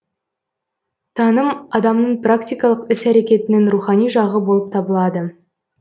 таным адамның практикалық іс әрекетінің рухани жағы болып табылады